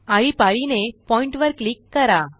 आळीपाळीने पॉइन्ट वर क्लिक करा